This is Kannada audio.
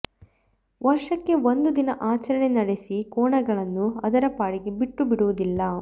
ವರ್ಷಕ್ಕೆ ಒಂದು ದಿನ ಆಚರಣೆ ನಡೆಸಿ ಕೋಣಗಳನ್ನು ಅದರ ಪಾಡಿಗೆ ಬಿಟ್ಟು ಬಿಡುವುದಿಲ್ಲ